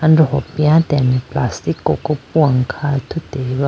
andoho piyatene plastic koko puwane kha athuti ba.